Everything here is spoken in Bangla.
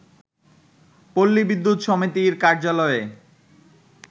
পল্লী বিদ্যুৎ সমিতির কার্যালয়ে